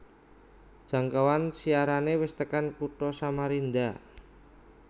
Jangkauan siarane wis tekan kutha Samarinda